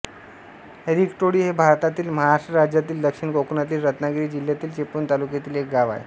रिकटोळी हे भारतातील महाराष्ट्र राज्यातील दक्षिण कोकणातील रत्नागिरी जिल्ह्यातील चिपळूण तालुक्यातील एक गाव आहे